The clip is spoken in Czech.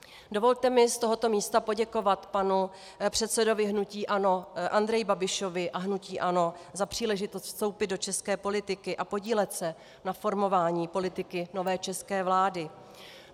Dovolte mi z tohoto místa poděkovat panu předsedovi hnutí ANO Andreji Babišovi a hnutí ANO za příležitost vstoupit do české politiky a podílet se na formování politiky nové české vlády.